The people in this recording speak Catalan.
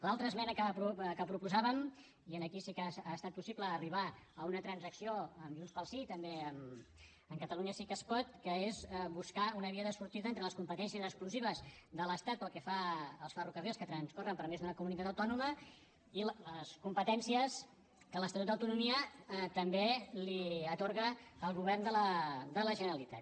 l’altra esmena que proposàvem i aquí sí que ha estat possible arribar a una transacció amb junts pel sí també amb catalunya sí que es pot que és buscar una via de sortida entre les competències exclusives de l’estat pel que fa als ferrocarrils que transcorren per més d’una comunitat autònoma i les competències que l’estatut d’autonomia també li atorga al govern de la generalitat